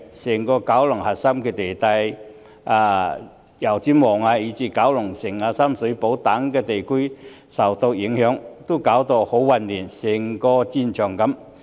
整個九龍的核心地帶，包括油尖旺以至九龍城、深水埗等地區均受到影響，情況十分混亂，好像一個戰場。